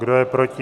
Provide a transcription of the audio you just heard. Kdo je proti?